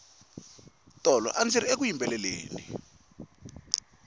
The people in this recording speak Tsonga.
tolo andziri eku yimbeleleni